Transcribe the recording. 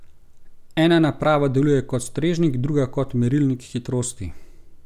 Ena naprava deluje kot strežnik, druga kot merilnik hitrosti.